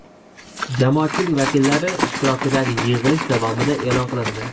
jamoatchilik vakillari ishtirokidagi yig‘ilish davomida e’lon qilindi.